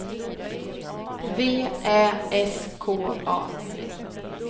V Ä S K A